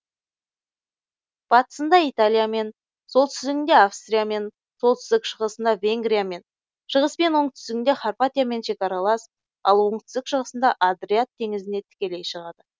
батысында италиямен солтүстігінде австриямен солтүстік шығысында венгриямен шығыс пен оңтүстігінде хорватиямен шекаралас ал оңтүстік шығысында адриат теңізіне тікелей шығады